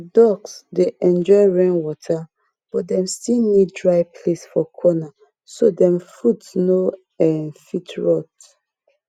ducks dey enjoy rainwater but dem still need dry place for corner so dem foot no um fit rot